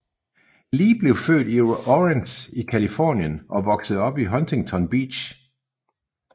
Lee blev født i Orange i Californien og voksede op i Huntington Beach